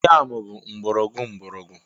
Yam bụ mgbọrọgwụ mgbọrọgwụ.